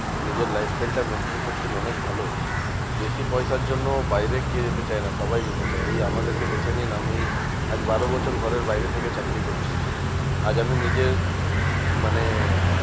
নিজের life style টা maintain করছেন অনেক ভালো। বেশি পয়সার জন্য বাইরে কে যেতে চায় না? সবাই যেতে চায়। এই আমাদেরকে দেখে নিন আমি আজ বারো বছর ঘরের বাইরে থেকে চাকরি করছি। আজ আমি নিজে মানে